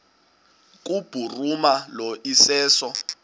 kubhuruma lo iseso